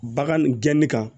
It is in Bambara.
Bagan gɛnni kan